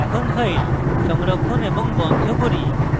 এখন file সংরক্ষণ এবং বন্ধ করি